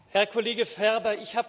Herr Kollege Ferber!